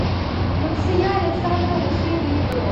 люция александровна свиридова